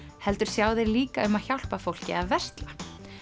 heldur sjá þeir líka um að hjálpa fólki að versla